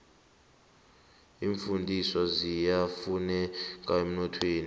iimfundiswa ziyafuneka emnothweni